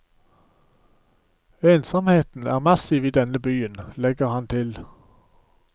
Ensomheten er massiv i denne byen, legger han til.